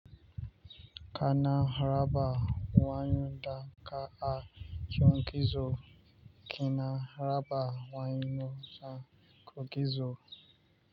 Kana raba wayan da ka a yankizo, kina raba wayan za ka gizo.